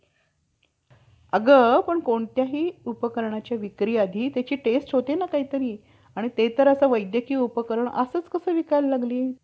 असे मु~ अं असे जर, म्हणावे तर त्यांच्या घरातील खटाटोप कोण करीत असे? याविषयी, मनूचा काही लेख आहे का?